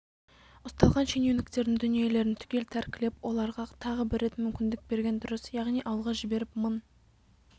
ұсталған шенеуніктердің дүниелерін түгел тәркілеп оларға тағы бір рет мүмкіндік берген дұрыс яғни ауылға жіберіп мың